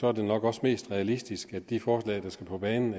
er det nok også mest realistisk at de forslag der skal på banen